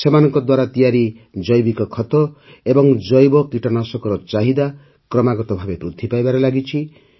ସେମାନଙ୍କ ଦ୍ୱାରା ତିଆରି ଜୈବିକ ଖତ ଏବଂ ଜୈବ କୀଟନାଶକର ଚାହିଦା କ୍ରମାଗତ ଭାବେ ବୃଦ୍ଧି ପାଇବାରେ ଲାଗିଛି